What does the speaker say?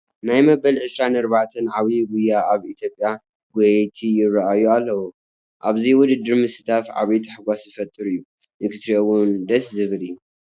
ናይ መበል 24 ዓብዪ ጉያ ኣብ ኢትዮጵያ ጐየይቲ ይርአዩ ኣለዉ፡፡ ኣብዚ ውድድር ምስታፍ ዓብይ ተሓጓስ ዝፈጥር እዩ፡፡ ንክትሪኦ እውን ደስ ዝብል እዩ፡፡